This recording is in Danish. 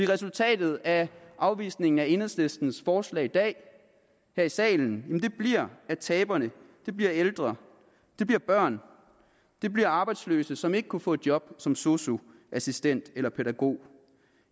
resultatet af afvisningen af enhedslistens forslag i dag her i salen bliver at taberne bliver ældre det bliver børn det bliver arbejdsløse som ikke kunne få et job som sosu assistent eller pædagog